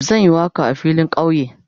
Zan yi waka a filin kauye.